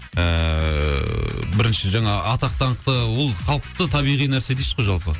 ііі бірінші жаңа атақ даңқ та ол қалыпты табиғи нәрсе дейсіз ғой жалпы